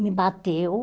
Me bateu.